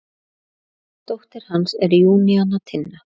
Dóttir hans er Júníana Tinna.